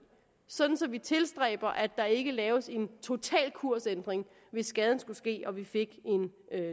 sådan at vi tilstræber at der ikke laves en total kursændring hvis skaden skulle ske og vi fik en